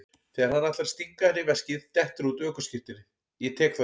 Þegar hann ætlar að stinga henni í veskið dettur út ökuskírteinið, ég tek það upp.